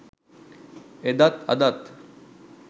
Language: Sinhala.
එදත් අදත්